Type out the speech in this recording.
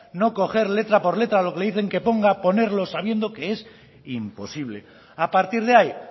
no coger letra por letra lo que le dicen que ponga ponerlo sabiendo que es imposible a partir de ahí